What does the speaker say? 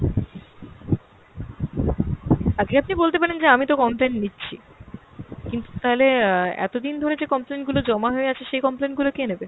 আজ্ঞে আপনি বলতে পারেন যে আমিতো complain নিচ্ছি, কিন্তু তাহলে অ্যাঁ এতদিন ধরে যে complain গুলো জমা হয়ে আছে সেই complain গুলো কে নেবে?